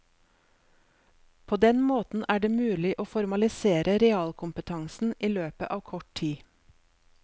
På den måten er det mulig å formalisere realkompetansen i løpet av kort tid.